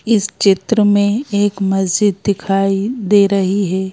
इस चित्र में एक मस्जिद दिखाई दे रही है।